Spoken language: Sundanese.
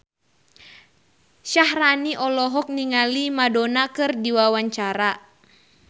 Syaharani olohok ningali Madonna keur diwawancara